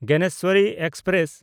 Gyaneshwari express